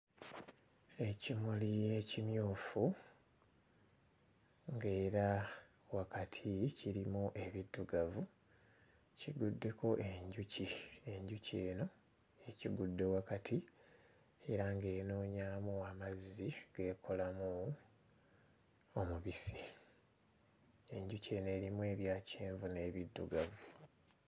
Ekimuli ekimyufu ng'era wakati kirimu ebiddugavu kiguddeko enjuki enjuki eno ekigudde wakati era ng'enoonyaamu amazzi g'ekolamu omubisi enjuki eno erimu ebya kyenvu n'ebiddugavu.